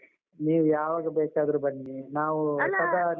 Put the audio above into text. ನೀವು ಯಾವಾಗ ಬೇಕಾದ್ರು ಬನ್ನಿ ನಾವು